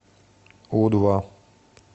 у два